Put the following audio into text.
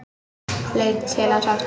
Leit til hans aftur.